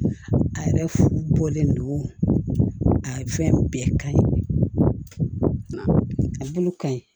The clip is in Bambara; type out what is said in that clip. A yɛrɛ bɔlen no a fɛn bɛɛ ka ɲi a bolo ka ɲi